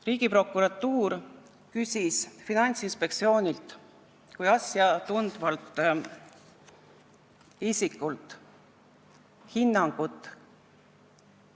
Riigiprokuratuur küsis Finantsinspektsioonilt kui asja tundvalt isikult hinnangut